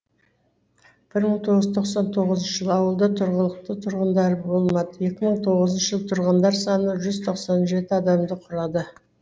бір мың тоғыз жүз тоқсан тоғызыншы жылы ауылда тұрғылықты тұрғындары болмады екі мың тоғызыншы жылы тұрғындар саны жүз тоқсан жеті адамды құрады